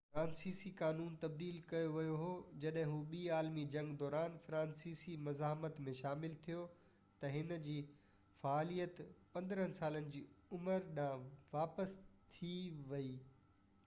فرانسيسي قانون تبديل ڪيو ويو هو جڏهن هُو ٻي عالمي جنگ دوران فرانسيسي مزاحمت ۾ شامل ٿيو ته هِن جي فعاليت 15سالن جي عمر ڏانهن واپس ٿي وئي